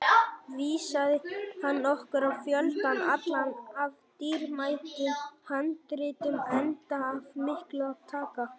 Vísaði hann okkur á fjöldann allan af dýrmætum handritum, enda af miklu að taka.